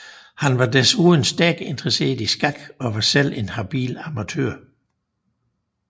Han var desuden stærkt interesseret i skak og var selv en habil amatør